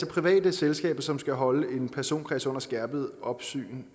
private selskaber som skal holde en personkreds under skærpet opsyn